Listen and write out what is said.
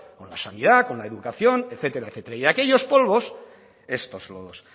con la sanidad con la educación etcétera etcétera y de aquellos polvos estos lodos